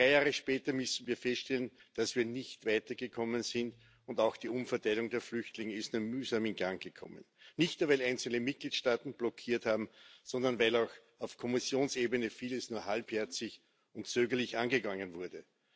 Drei Jahre später müssen wir feststellen, dass wir nicht weitergekommen sind, und auch die Umverteilung der Flüchtlinge ist nur mühsam in Gang gekommen nicht nur, weil einzelne Mitgliedstaaten blockiert haben, sondern weil auch auf Kommissionsebene vieles nur halbherzig und zögerlich angegangen wurde.